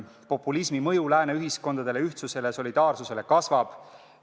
Populismi mõju Lääne ühiskondadele, ühtsusele ja solidaarsusele kasvab.